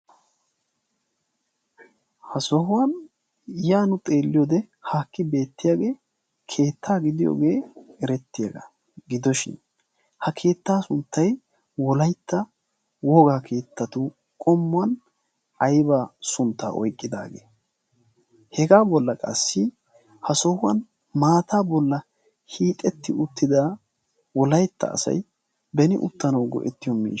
ha sohuwan yaanu xeelliyoode haakki beettiyaagee keettaa gidiyoogee erettiyaagaa gidoshin ha keettaa sunttay wolaytta wogaa keettatu qommuwan aybaa sunttaa oyqqidaagee? hegaa bolla qassi ha sohuwan maataa bolla hiixetti uttida wolaytta asay beni uttanawu go'ettiyoo miia